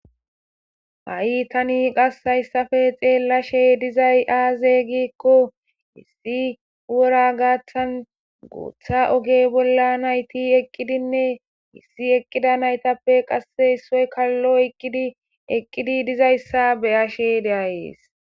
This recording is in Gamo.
ha7i tani qassayssafe xeellashe dizay aazey giikko issi wora gaaththan gooththa oge bolla nayti eqqidinne issi eqqida naytappe qasse issoy kallo eqkidi eqqidi dizayssa beyashe deayees